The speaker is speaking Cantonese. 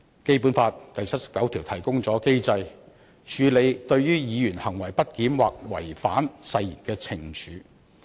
《基本法》第七十九條提供機制處理對於議員"行為不檢或違反誓言"的懲處。